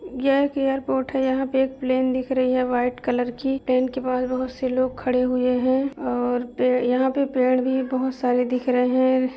यह एक एयरपोर्ट है। यहां पे एक प्लेन दिख रही है व्हाइट कलर की। प्लेन के पास बहोत से लोग खड़े हुये हैं और यहां पे पेड़ भी बहोत सारे दिख रहे हैं।